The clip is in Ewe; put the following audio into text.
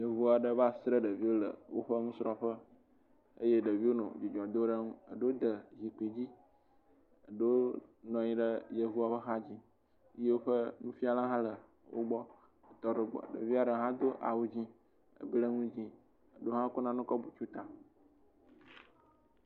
Yevu aɖe va sra ɖeviwo le woƒe nusrɔ̃ƒe eye ɖeviwo nɔ dzidzɔ dom ɖe nu. Ɖewo de zikpui dzi. Ɖewo nɔ anyi ɖe yevua ƒe axa dzi. Woƒe nufiala hã le wo gbɔ tɔ ɖe wo gbɔ. Ɖevia ɖe hã do awu dzi ble nu dzi eɖe hã ko nane kɔ bu ta.